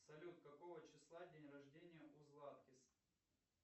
салют какого числа день рождения у златкис